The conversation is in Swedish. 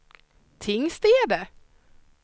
Tingstäde